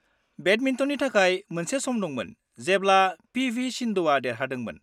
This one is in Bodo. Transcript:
-बेडमिन्टननि थाखाय, मोनसे सम दंमोन जेब्ला पि.वि. सिन्धुआ देरहादोंमोन।